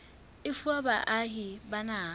e fuwa baahi ba naha